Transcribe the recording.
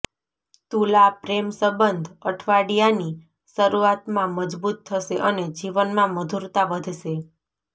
તુલા પ્રેમ સંબંધ અઠવાડિયાની શરૂઆતમાં મજબૂત થશે અને જીવનમાં મધુરતા વધશે